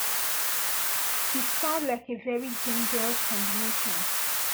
e sound like a very dangerous combination